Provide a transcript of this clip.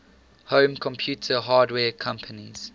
home computer hardware companies